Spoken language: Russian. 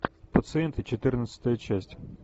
пациенты четырнадцатая часть